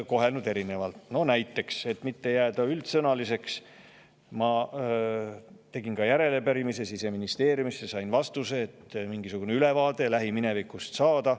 Et mitte jääda üldsõnaliseks ja mingisugune ülevaade lähimineviku kohta saada, tegin järelepärimise Siseministeeriumisse, kust sain ka vastuse.